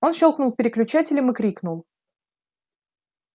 он щёлкнул переключателем и крикнул